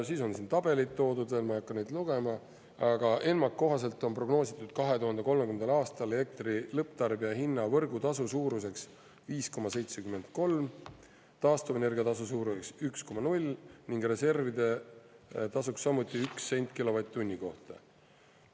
Siis on siin tabelid toodud veel, ma ei hakka neid lugema, aga ENMAK-i kohaselt on prognoositud 2030. aastal elektri lõpptarbija hinna võrgutasu suuruseks 5,73, taastuvenergia tasu suuruseks 1,0 ning reservide tasuks samuti 1 sent kilovatt-tunni kohta.